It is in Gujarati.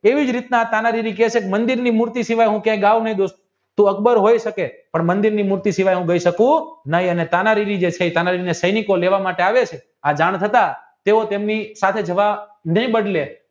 તેવી જ રીતના તાનારીવિ કહે છે કે મંદિર મૂર્તિ સિવાય હું ક્યાંય ગાવ નહીં અકબર હોય શકે મંદિરની મૂર્તિ સિવાય સિંહોવાય હું ગાય ગાય શકે નહિ